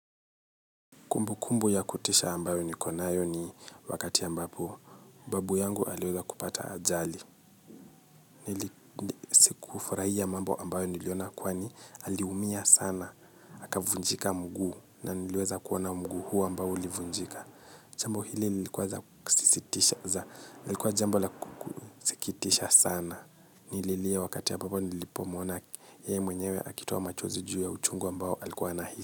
Kumbu kumbu ya kutisha ambayo niko nayo ni wakati ambapo babu yangu aliweza kupata ajali. Nili ufurahia mambo ambayo niliona kwani aliumia sana. Akavunjika mguu na niliwza kuona mguu huo ambao ulivunjika. Jambo hili lilikuwa za ksisitisha za. Lilikuwa jambo la kusikitisha sana. Nililia wakati ambapo nilipomuona yeye mwenyewe akitoa machozi juu ya uchungu ambao alikuwa anahi.